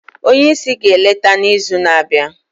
onye isi ga-eleta n'izu na-abịa